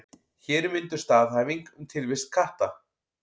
Hér er mynduð staðhæfing um tilvist katta.